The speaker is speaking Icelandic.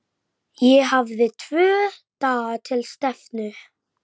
Ég hélt að hann væri hjá þér þessi vinur þinn.